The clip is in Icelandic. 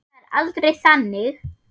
En það er aldrei þannig.